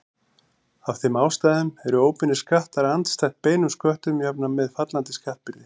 Af þeim ástæðum eru óbeinir skattar andstætt beinum sköttum jafnan með fallandi skattbyrði.